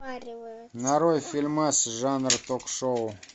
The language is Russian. нарой фильмас жанр ток шоу